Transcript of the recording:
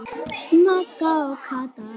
Magga og Kata.